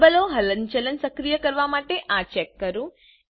લેબલો હલનચલન સક્રિય કરવા માટે આ ચેક કરો